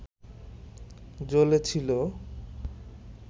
জ্বলে ছিল